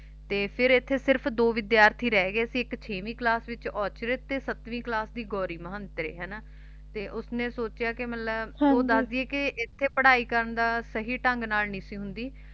ਤੇ ਫਿਰ ਇੱਥੇ ਸਿਰਫ ਦੋ ਵਿਦਿਆਰਥੀ ਰਹਿ ਗਏ ਇੱਕ ਛੇਵੀਂ ਕਲਾਸ ਵਿਚ ਔਰਚਿਤ ਤੇ ਸੱਤਵੀਂ ਕਲਾਸ ਦੀ ਗੌਰੀ ਮਹੰਤੇ ਹਨਾਂ ਤੇ ਉਸ ਨੇ ਸੋਚਿਆ ਕਿ ਮਤਲਬ ਉਹ ਦਸਦੀ ਹੈ ਕਿ ਇੱਥੇ ਪੜ੍ਹਾਈ ਕਰਨ ਦਾ ਸਹੀ ਢੰਗ ਨਾਲ ਨਹੀਂ ਹੁੰਦੀ